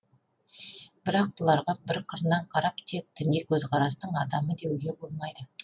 бірақ бұларға бір қырынан қарап тек діни көзқарастың адамы деуге болмайды